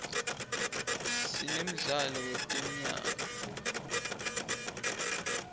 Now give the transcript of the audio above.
sinemdlalo wetemyalto